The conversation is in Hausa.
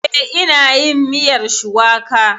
Eh, ina yin miyar shuwaka